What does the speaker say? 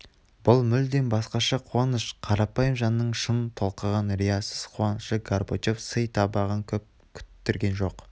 бұл мүлдем басқаша қуаныш қарапайым жанның шын толқыған риясыз қуанышы горбачев сый табағын көп күттірген жоқ